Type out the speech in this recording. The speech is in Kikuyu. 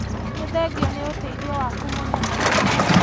Nĩthengiũ nĩũteithio waku mũnene.